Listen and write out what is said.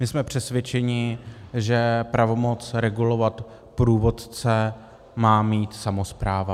My jsme přesvědčeni, že pravomoc regulovat průvodce má mít samospráva.